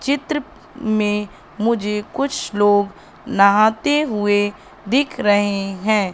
चित्र में मुझे कुछ लोग नहाते हुए दिख रहे हैं।